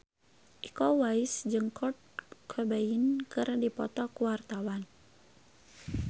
Iko Uwais jeung Kurt Cobain keur dipoto ku wartawan